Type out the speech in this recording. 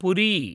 पुरी